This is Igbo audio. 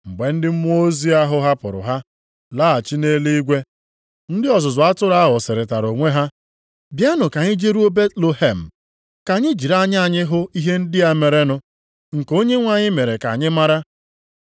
Mgbe ndị mmụọ ozi ahụ hapụrụ ha, laghachi nʼeluigwe, ndị ọzụzụ atụrụ ahụ sịrịtara onwe ha, “Bịanụ ka anyị jeruo Betlehem, ka anyị jiri anya anyị hụ ihe ndị a merenụ, nke Onyenwe anyị mere ka anyị mara.”